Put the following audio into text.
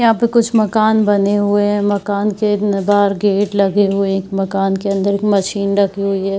यहाँ पे कुछ मकान बने हुए हैं मकान के उम्म बाहर गेट लगे हुए हैं एक मकान के अंदर एक मशीन रखी हुई है।